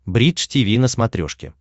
бридж тиви на смотрешке